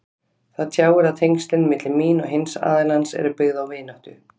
Það tjáir að tengslin milli mín og hins aðilans eru byggð á vináttu.